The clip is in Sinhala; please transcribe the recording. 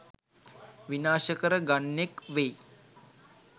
විනාශ කර ගන්නෙක් වෙයි.